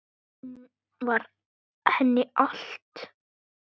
Hún var henni allt.